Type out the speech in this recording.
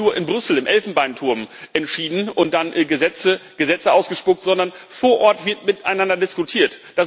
Es wird nicht nur in Brüssel im Elfenbeinturm entschieden und dann werden Gesetze ausgespuckt, sondern vor Ort wird miteinander diskutiert.